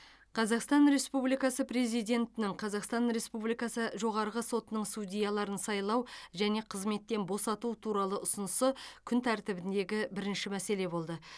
қазақстан республикасы президентінің қазақстан республикасы жоғарғы сотының судьяларын сайлау және қызметтен босату туралы ұсынысы күн тәртібіндегі бірінші мәселе болды